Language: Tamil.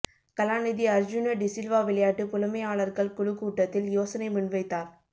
கலாநிதி அர்ஜூன டிசில்வா விளையாட்டு புலமையாளர்கள் குழு கூட்டத்தில் யோசனை முன்வைத்தார்